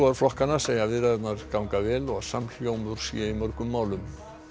flokkanna segja viðræðurnar ganga vel og að samhljómur sé í mörgum málum